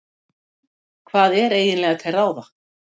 Hvað er eiginlega til ráða?